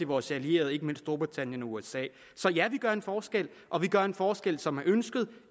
vores allierede ikke mindst storbritannien og usa så ja vi gør en forskel og vi gør en forskel som er ønsket